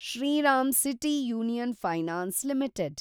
Shriram City Union Finance limited